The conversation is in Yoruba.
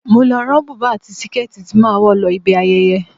Mo lọ rán bùbá àti síkẹ́ẹ̀tì tí màá wọ̀ lọ ibi ayẹyẹ.